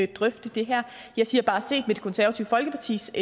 drøfte det her jeg siger bare at set med det konservative folkepartis